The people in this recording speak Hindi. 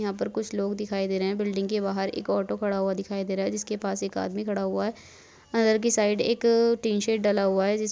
यहाँ कुछ लोग दिखाई दे रहे हैं बिल्डिंग के बाहर एक ऑटो खड़ा हुआ दिखाई दे रहा है जिसके पास एक आदमी खड़ा हुआ है अंदर के साइड एक टीन शेड डाला हुआ है।